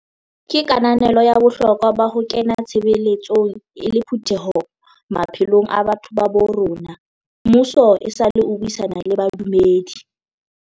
Ka kananelo ya bohlokwa ba ho kena tshebeletsong e le phutheho maphelong a batho ba bo rona, mmuso esale o buisana le badumedi.